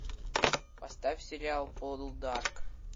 поставь сериал полдарк